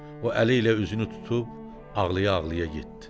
O əliylə üzünü tutub ağlaya-ağlaya getdi.